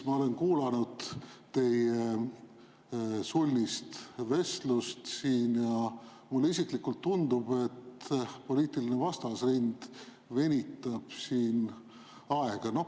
Ma olen kuulanud teie sulnist vestlust siin ja mulle isiklikult tundub, et poliitiline vastasrind venitab siin aega.